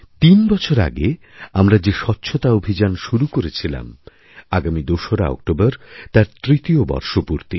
তিনবছর আগেআমরা যে স্বচ্ছতা অভিযান শুরু করেছিলাম আগামী দোসরা অক্টোবর তার তৃতীয়বর্ষপূর্তি